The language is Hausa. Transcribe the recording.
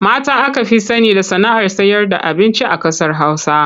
Mata aka fi sani da sana'ar sayarda abinci a ƙasar Hausa.